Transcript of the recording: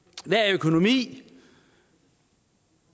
økonomi